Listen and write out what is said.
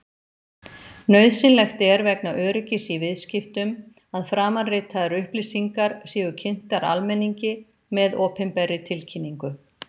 Nauðsynlegt er vegna öryggis í viðskiptum að framanritaðar upplýsingar séu kynntar almenningi með opinberri tilkynningu.